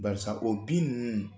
Barisa o bin nunnu